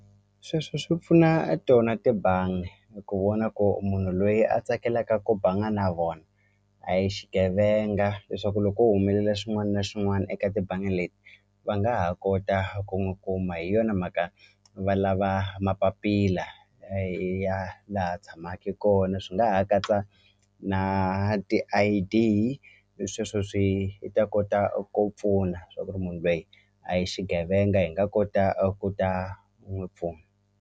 Sweswo swi pfuna tona tibangi eku vona ku munhu loyi a tsakelaka ku banga na vona a hi xigevenga leswaku loko ko humelela xin'wani na xin'wani eka tibangi leti va nga ha kota ku n'wi kuma hi yona mhaka va lava mapapila ya laha tshamaki kona swi nga ha katsa na ti-I_D hi sweswo swi ta kota ku pfuna swa ku ri munhu loyi a hi xigevenga hi nga kota a ku ta n'wi pfuna.